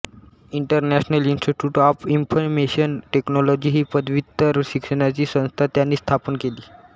international institute of information technology ही पदव्युत्तर शिक्षणाची संस्था त्यांनी स्थापन केली